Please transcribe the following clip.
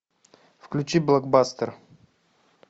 включи блокбастер